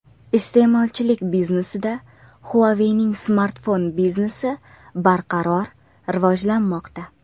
Iste’molchilik biznesida Huawei’ning smartfon biznesi barqaror rivojlanmoqda.